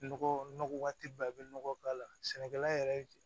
Nɔgɔ nɔgɔ tɛ i bɛ nɔgɔ k'a la sɛnɛkɛla yɛrɛ